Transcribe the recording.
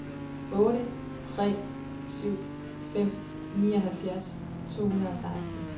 otte tre syv fem nioghalvfjerds to hundrede og seksten